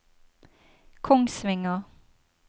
Kongsvinger